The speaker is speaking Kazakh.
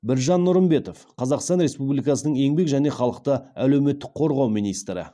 біржан нұрымбетов қазақстан республикасының еңбек және халықты әлеуметтік қорғау министрі